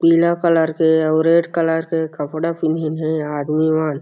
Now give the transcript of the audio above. पीला कलर के अउ रेड कलर के कपडा पिंधीन हे आदमी मन --